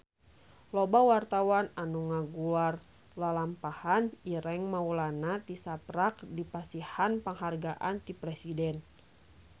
Loba wartawan anu ngaguar lalampahan Ireng Maulana tisaprak dipasihan panghargaan ti Presiden